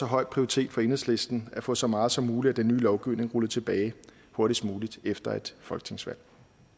høj prioritet for enhedslisten at få så meget som muligt af den nye lovgivning rullet tilbage hurtigst muligt efter et folketingsvalg